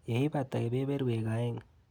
Yeibata kebeberwek aeng.